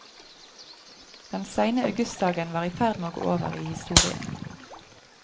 Den seine augustdagen var i ferd med å gå over i historien.